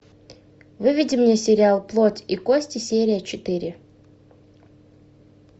выведи мне сериал плоть и кости серия четыре